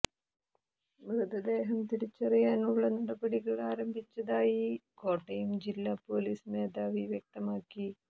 മൃതദേഹം തിരിച്ചറിയാനുള്ള നടപടികൾ ആരംഭിച്ചതായി കോട്ടയം ജില്ലാ പൊലീസ് മേധാവി വ്യക്തമാക്കി